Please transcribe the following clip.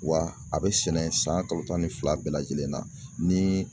Wa a bɛ sɛnɛ san kalo tan ni fila bɛɛ lajɛlen na ni